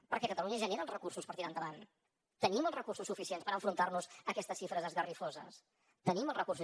perquè catalunya genera els recursos per tirar endavant tenim els recursos suficients per enfrontar nos a aquestes xifres esgarrifoses tenim els recursos